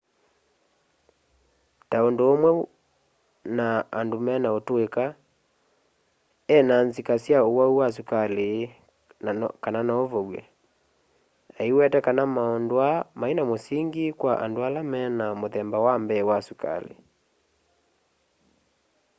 ta undu umwe na andu mena utuika e na nzika sya uwau wa sukali kana nouvow'e aiweta kana maundu aa maina musingi kwa andu ala mena muthemba wa mbee wa sukali